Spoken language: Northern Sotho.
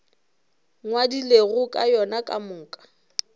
ngwadilego ka yona ka moka